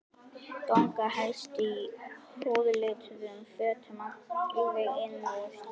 Ganga helst í húðlituðum fötum alveg inn úr.